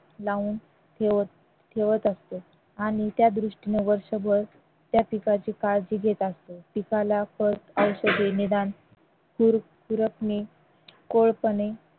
लावून ठेवत ठेवत असते आणि त्या दृष्टीने वर्षभर त्या पिकाची काळजी घेत असतो पिकाला फळ औषधे निदान कोळपणे